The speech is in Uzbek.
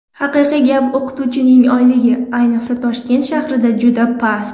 Haqiqiy gap, o‘qituvchining oyligi, ayniqsa, Toshkent shahrida juda past.